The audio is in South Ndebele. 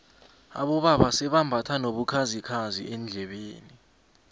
abobaba sebambatha nobukhazikhazi eendlebeni